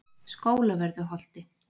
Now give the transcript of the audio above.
Skólavörðuholti